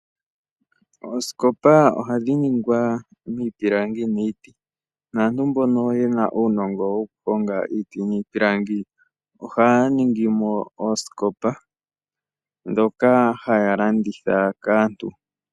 Oosikopa oha dhi ningwa miipilangi niiti. Naantu mbono yena uunongo woku honga iiti niipilangi, ohaya ningi mo oosikopa dhoka haya landitha kaantu.